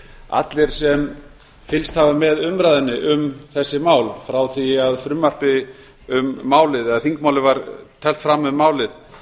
allir sem fylgst hafa með umræðunni um þessi mál frá því að frumvarpi um þingmálið var teflt fram um málið